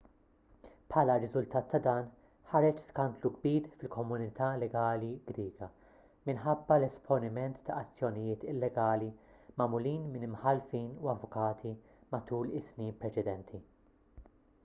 bħala riżultat ta' dan ħareġ skandlu kbir fil-komunità legali griega minħabba l-esponiment ta' azzjonijiet illegali magħmulin minn imħallfin u avukati matul is-snin preċedenti